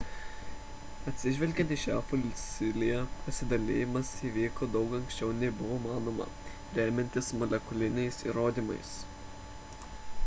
atsižvelgiant į šią fosiliją pasidalijimas įvyko daug anksčiau nei buvo manoma remiantis molekuliniais įrodymais